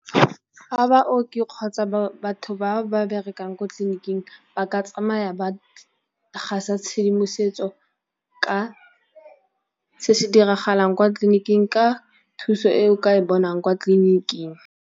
Fa baoki kgotsa batho ba ba berekang kwa tleliniking ba ka tsamaya ba gasa tshedimosetso ka se se diragalang kwa tleliniking ka thuso e o ka e bonang kwa tleliniking.